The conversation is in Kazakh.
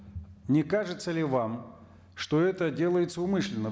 не кажется ли вам что это делается умышленно